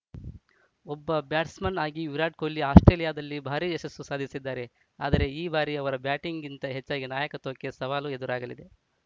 ಒಬ್ಬ ಬ್ಯಾಟ್ಸ್‌ಮನ್‌ ಆಗಿ ವಿರಾಟ್‌ ಕೊಹ್ಲಿ ಆಸ್ಪ್ರೇಲಿಯಾದಲ್ಲಿ ಭಾರೀ ಯಶಸ್ಸು ಸಾಧಿಸಿದ್ದಾರೆ ಆದರೆ ಈ ಬಾರಿ ಅವರ ಬ್ಯಾಟಿಂಗ್‌ಗಿಂತ ಹೆಚ್ಚಾಗಿ ನಾಯಕತ್ವಕ್ಕೆ ಸವಾಲು ಎದುರಾಗಲಿದೆ